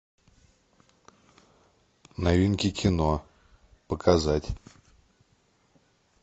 новинки кино показать